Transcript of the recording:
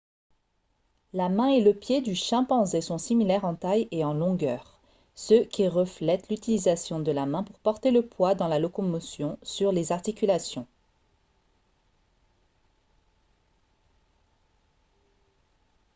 la main et le pied du chimpanzé sont similaires en taille et en longueur ce qui reflète l'utilisation de la main pour porter le poids dans la locomotion sur les articulations